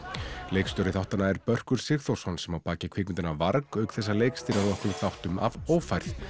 leikstjóri þáttanna er Börkur Sigþórsson sem á að baki kvikmyndina varg auk þess að leikstýra nokkrum þáttum af ófærð